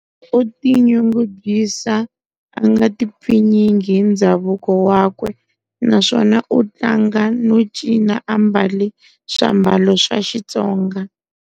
U ti nyungubyisa a nga ti pfinyingi hi ndzhavuko wakwe naswona u tlanga no cina a mbale sw'ambalo swa Xitsonga.